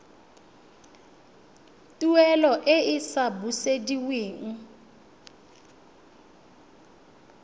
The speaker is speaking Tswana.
tuelo e e sa busediweng